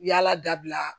Yala dabila